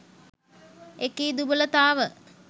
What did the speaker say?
එකී දුබලතාව